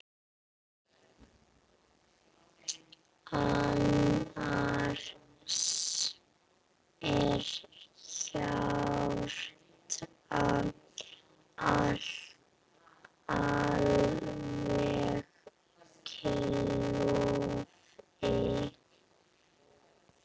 Annars er hjartað alveg klofið.